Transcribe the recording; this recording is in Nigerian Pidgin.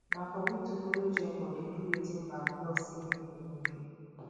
na for we to follow join bodi do wetin bank tok say make we no do